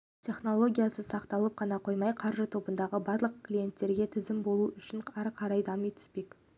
технологиясы сақталып қана қоймай қаржы тобындағы барлық клиенттерге тиімді болуы үшін ары қарай дами түспек